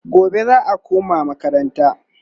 gobe za'a koma makaranta